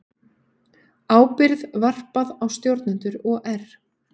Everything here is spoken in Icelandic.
Ábyrgð varpað á stjórnendur OR